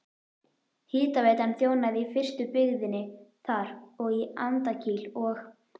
Hitaveitan þjónaði í fyrstu byggðinni þar og í Andakíl og